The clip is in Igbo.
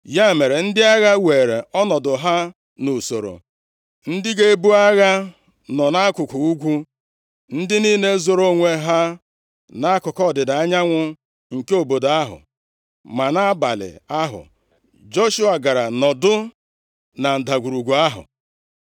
Ya mere, ndị agha were ọnọdụ ha nʼusoro, ndị ga-ebu agha nọ nʼakụkụ ugwu, ndị niile zoro onwe ha nʼakụkụ ọdịda anyanwụ nke obodo ahụ. Ma nʼabalị ahụ, Joshua gara nọdụ na ndagwurugwu ahụ.